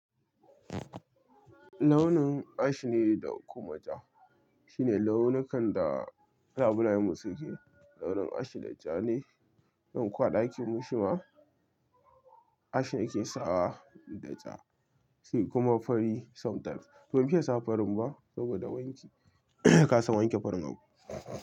Launin ash ne da kuma ja. Shi ne launukan da ɗalibai mu suke, launin ash da ja ne. Don kuwa ɗakin mu shi ma ash yake sawa da ja, sai kuma fari sometimes. Ba mu fiye sa farin ba saboda wanki. Ka san wanke farin abu.